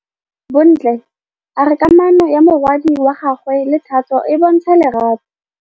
Bontle a re kamanô ya morwadi wa gagwe le Thato e bontsha lerato.